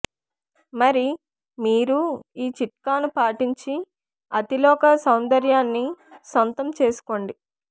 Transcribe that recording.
మరి మీరూ ఈ చిట్కాను పాటించి అతిలోక సౌందర్యాన్ని సొంతం చేసుకోండి